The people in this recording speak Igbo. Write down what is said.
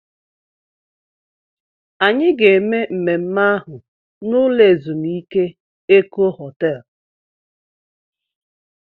Anyị ga-eme mmemme ahụ n'ụlọ ezumike Eko Họtel